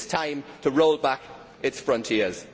It is time to roll back its frontiers.